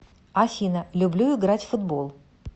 афина люблю играть в футбол